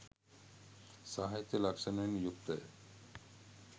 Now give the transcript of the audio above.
සාහිත්‍යය ලක්‍ෂණවලින් යුක්තය